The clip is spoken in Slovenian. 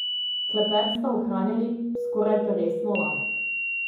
Klepet sta ohranjali skoraj peresno lahek.